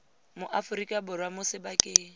mo aforika borwa mo sebakeng